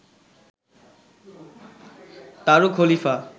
তারু খলিফা